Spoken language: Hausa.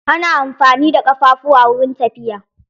Ana amfani da ƙafafuwa wurin tafiya.